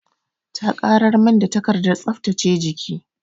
Ta ƙarar min da takardar tsaftace jiki.